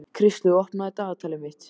Kristlaug, opnaðu dagatalið mitt.